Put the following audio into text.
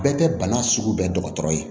Bɛɛ tɛ bana sugu bɛɛ dɔgɔtɔrɔ ye